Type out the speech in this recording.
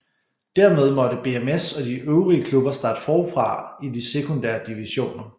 Dermed måtte BMS og de øvrige klubber starte forfra i de sekundære divisioner